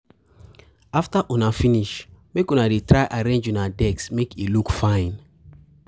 After una finish make una dey try to arrange una desk make e look fine.